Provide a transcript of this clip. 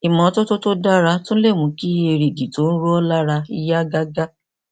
ìmọtótó tó dára tún lè mú kí èrìgì tó ń ro ọ lára yá gágá